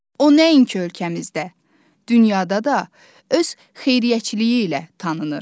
O, nəinki ölkəmizdə, dünyada da öz xeyriyyəçiliyi ilə tanınır.